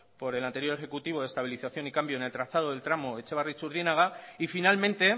por el anterior ejecutivo de estabilización y cambio del trazado del tramo etxebarri txurdinaga y finalmente